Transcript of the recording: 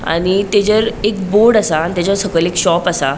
आणि तेजेर एक बोर्ड असा आणि तेचा सकयल एक शॉप असा.